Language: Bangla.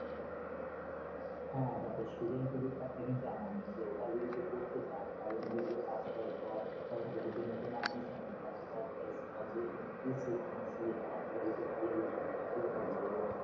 হ্যা দেখো student credit card টা কিন্তু এমনি যে ওটা যদি তুই করতে চাস তাহলে কিন্তু তোকে pass করার আবার তোকে কি নতুন admission নিতে হয় সেটাতে মানে সেটা দিয়ে ভালো বুঝবি you are right